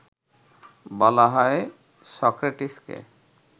বলা হয় সক্রেটিসকে